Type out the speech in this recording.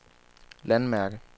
landmærke